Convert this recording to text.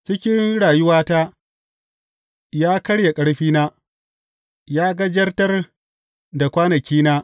Cikin rayuwata, ya karye ƙarfina; ya gajartar da kwanakina.